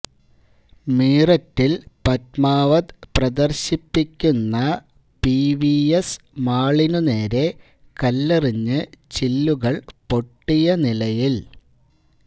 മീററ്റില് പദ്മാവത് പ്രദര്ശിപ്പിക്കുന്ന പിവിഎസ് മാളിനുനേരെ കല്ലെറിഞ്ഞ് ചില്ലുകള് പൊട്ടിയ നിലയില്